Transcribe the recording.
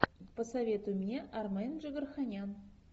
посоветуй мне армен джигарханян